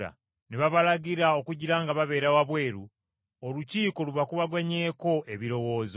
Ne babalagira okugira nga babeera wabweru Olukiiko lubakubaganyeko ebirowoozo.